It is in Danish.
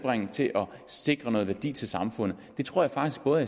til at sikre noget værdi til samfundet det tror jeg faktisk både